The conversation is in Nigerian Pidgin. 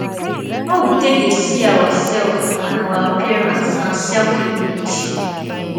how we take dey see ourself and our appearance na selfimage